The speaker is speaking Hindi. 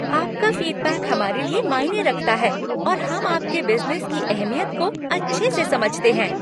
आपका फीडबैक हमारे लिए मायने रखता है और हम आपके बिज़नेस की अहमियत को अच्छे से समझते हैं।